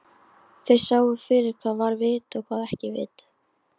Þeir sáu fyrir hvað var vit og hvað ekki vit.